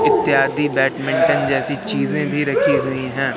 इत्यादि बैडमिंटन जैसी चीजें भी रखी हुई हैं।